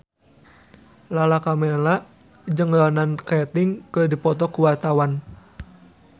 Lala Karmela jeung Ronan Keating keur dipoto ku wartawan